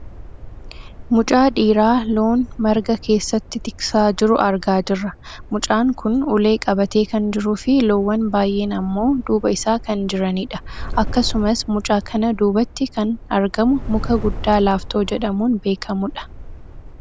Mucaa dhiiraa loon marga keessatti tiksaa jiru argaa jirra. Mucaan kun ulee qabatee kan jiruufi loowwan baayyeen ammoo duuba isaa kan jiranidha. Akkasumas mucaa kana duubatti kan argamu muka guddaa laaftoo jedhamuun beekkamudha.